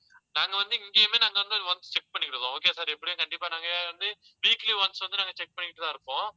நாங்க வந்து இங்கேயுமே நாங்க வந்து once check பண்ணிக்கிட்டிருக்கோம். okay sir எப்படியும் கண்டிப்பா நாங்க வந்து weekly once வந்து நாங்க check பண்ணிக்கிட்டுதான் இருப்போம்.